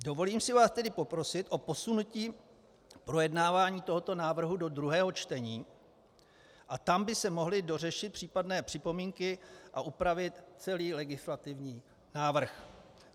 Dovolím si vás tedy poprosit o posunutí projednávání tohoto návrhu do druhého čtení a tam by se mohly dořešit případné připomínky a upravit celý legislativní návrh.